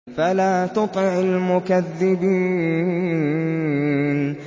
فَلَا تُطِعِ الْمُكَذِّبِينَ